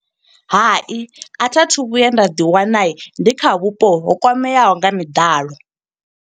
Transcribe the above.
Hai, a thi a thu vhuya nda ḓi wana ndi kha vhupo ho kwameaho nga miḓalo.